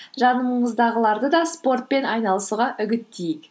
жаныңыздағыларды да спортпен айналысуға үгіттейік